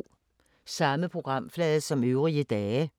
Samme programflade som øvrige dage